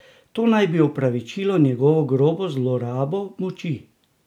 To naj bi opravičilo njegovo grobo zlorabo moči?